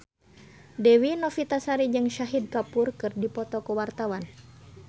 Dewi Novitasari jeung Shahid Kapoor keur dipoto ku wartawan